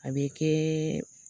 A bɛ kɛɛɛ